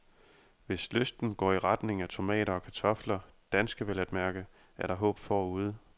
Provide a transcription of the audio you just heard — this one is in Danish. Hvis lysten går i retning af tomater og kartofler, danske vel at mærke, er der håb forude.